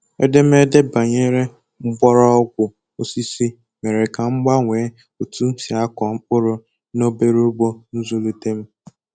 Edemede banyere mgbọrọgwụ osisi mere ka m gbanwee otu m si akọ mkpụrụ na obere ugbo nzulite m